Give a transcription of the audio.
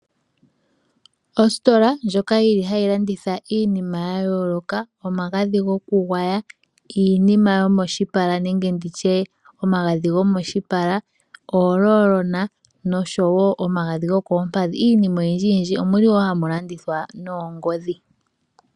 Ositola ndjoka hayi landitha iinima ya yooloka, omagadhi gokugwaya, iinima yomoshipala nenge nditye omagadhi gomoshipala, ooroll-na, noshowo omagadhi gokoompadhi. Iinima oyindji yindji Omu li wo hamu landithwa noongodhi